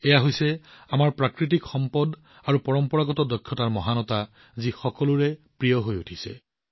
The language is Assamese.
এয়া হৈছে আমাৰ প্ৰাকৃতিক সম্পদ আৰু পৰম্পৰাগত দক্ষতাৰ গুণ যাক সকলোৱে ভাল পাইছে